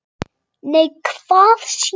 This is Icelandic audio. Nei, hvað sé ég?